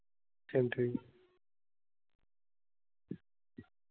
चल. ठीक आहे.